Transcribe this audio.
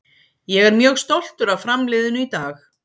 Ég er mjög stoltur af Fram liðinu í dag.